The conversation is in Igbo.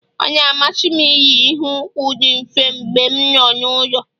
Ọ na-amasị m iyi- iheukwu di mfe mgbe m nọ n'ụlọ